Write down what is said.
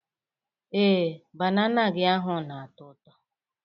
Ee, banana gị ahụ na-ato ụtọ.